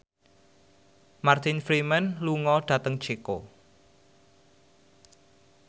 Martin Freeman lunga dhateng Ceko